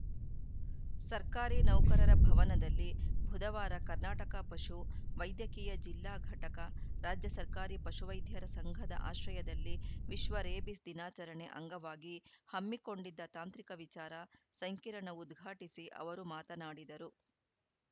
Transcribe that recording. ಸರ್ಕಾರಿ ನೌಕರರ ಭವನದಲ್ಲಿ ಬುಧವಾರ ಕರ್ನಾಟಕ ಪಶು ವೈದ್ಯಕೀಯ ಜಿಲ್ಲಾ ಘಟಕ ರಾಜ್ಯ ಸರ್ಕಾರಿ ಪಶುವೈದ್ಯರ ಸಂಘದ ಆಶ್ರಯದಲ್ಲಿ ವಿಶ್ವ ರೇಬಿಸ್‌ ದಿನಾಚರಣೆ ಅಂಗವಾಗಿ ಹಮ್ಮಿಕೊಂಡಿದ್ದ ತಾಂತ್ರಿಕ ವಿಚಾರ ಸಂಕಿರಣ ಉದ್ಘಾಟಿಸಿ ಅವರು ಮಾತನಾಡಿದರು